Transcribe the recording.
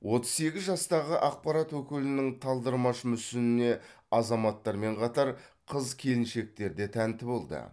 отыз сегіз жастағы ақпарат өкілінің талдырмаш мүсініне азаматтармен қатар қыз келіншектер де тәнті болды